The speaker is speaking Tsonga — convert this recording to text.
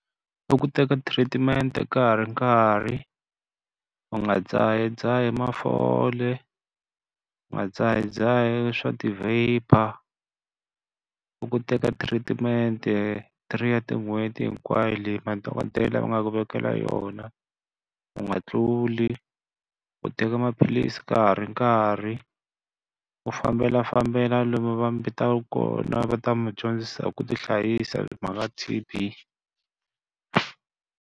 I ku teka treat-mente ka ha ri nkarhi, u nga dzahadzahi mafole, u nga dzahadzahi swa ti vaper. I ku teka thiritimente three ya tin'hweti hinkwayo leyi madokodela va nga ku vekela yona, u nga tluli. U teka maphilisi ka ha ri nkarhi, u fambelafambela lomu va mi vitaka kona va ta mi dyondzisa hi ku ti hlayisa hi mhaka T_B.